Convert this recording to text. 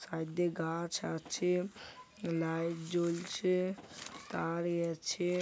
Side দিয়ে গাছ আছে লাইট জ্বলছে তার ই আছে।